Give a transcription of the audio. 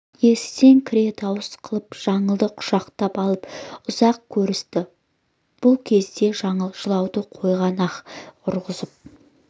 есіктен кіре дауыс қылып жаңылды құшақтап алып ұзақ көрісті бұ кезде жаңыл жылауды қойған аһ ұрғызып